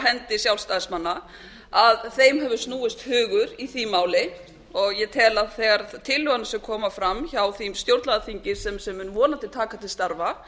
hendi sjálfstæðsimanna að þeim hefur snúist hugur í því máli og ég tel að þegar tillögurnar koma fram hjá því stjórnlagaþingi sem mun vonandi taka til starfa